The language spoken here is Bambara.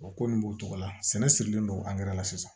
O ko nin b'o cogo la sɛnɛ sirilen don la sisan